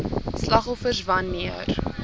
slagoffers wan neer